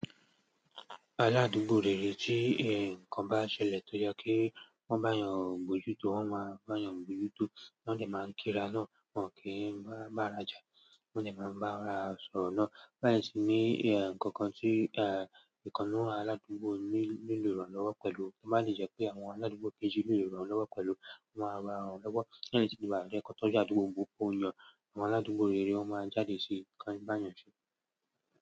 Aládùúgbò rere tí ǹkan bá ṣẹlẹ̀ tó yẹ kí wọ́n bá yàn bójú tó, wọ́n máa bá yàn bójú tó. Wọ́n dè máa kí ra náà, wọ́n kì í bá bàrà jà. Wọ́n lè máa bá ra aṣọ̀ nà. Báyìí sì ní nǹkan kan tí ìkannú aládùúgbò lè rànlọ́wọ́ pẹ̀lú kí wọ́n ba lè jẹ́ pé àwọn aládùúgbò kejì lè rànlọ́wọ́ pẹ̀lú àwọn ará àwọn lọ́wọ́. Sí àdí sí ní ìbàrà, ẹ kọ̀tọ́jà àdúgbò gbogbo pé ó yàn àwọn aládùúgbò rere, ó máa jáde sí ǹkan ìbá yànṣẹ́.